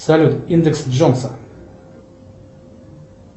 салют индекс джонса